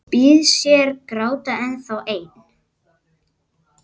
Býðst hér gáta ennþá ein,.